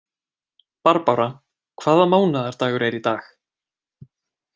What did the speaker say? Barbára, hvaða mánaðardagur er í dag?